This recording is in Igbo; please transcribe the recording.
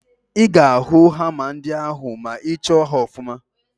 Ị ga-ahụ hama ndị ahụ ma ị chọọ ha ọfụma